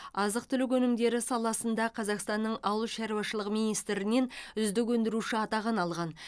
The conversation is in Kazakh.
азық түлік өнімдері саласында қазақстанның ауыл шаруашылығы министрінен үздік өндіруші атағын алған